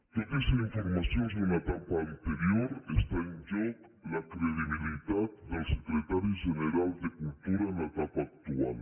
tot i ser informacions d’una etapa anterior està en joc la credibilitat del secretari general de cultura en l’etapa actual